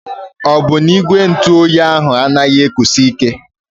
Ọ bụ na ígwè ntụ óyi ahụ anaghị ekusi ike?